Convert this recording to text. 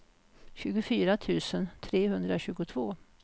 tjugofyra tusen trehundratjugotvå